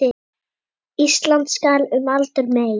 Ísland skal um aldur mey